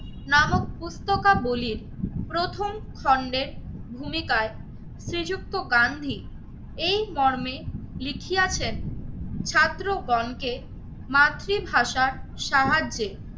নামক পুস্তকা বলির প্রথম খন্ডের ভূমিকায় শ্রীযুক্ত গান্ধী এই মর্মে লিখিয়াছেন ছাত্র গণকে মাতৃভাষার সাহায্যে